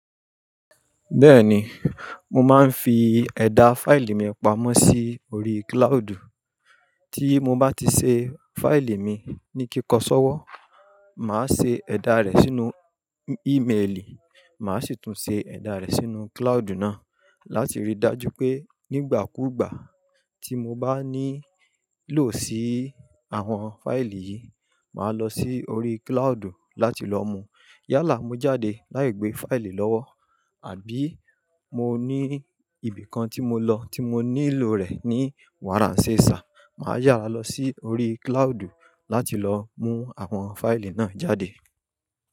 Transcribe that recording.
Bẹ́ẹ̀ni, mo máa ń fi ẹ̀dà fáìlì mi pamọ́ sí orí cloud. Tí mo bá ti ṣe fáìlì mi ní kíkọ́ sọ́wọ́, màá ṣe ẹ̀dà rẹ̀ sínú ímelì, màá sì tún ṣe ẹ̀dà rẹ̀ sínú cloud náà láti rí i dájú pé nígbàkúùgbà tí mo bá nílò sí àwọn fáìlì yìí, màá lọ sí orí cloud láti lọ mú. Yálà mo jáde láì gbé fáìlì lọ́wọ́ àbí mo ní ibìkan tí mo lọ tí mo nílò rẹ̀ ní wàràńsẹ́ sà, màá yára lọ sí orí cloud láti lọ mú àwọn fáìlì náà jáde.